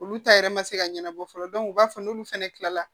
Olu ta yɛrɛ ma se ka ɲɛnabɔ fɔlɔ u b'a fɔ n'olu fɛnɛ kila la